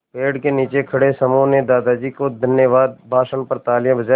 पेड़ के नीचे खड़े समूह ने दादाजी के धन्यवाद भाषण पर तालियाँ बजाईं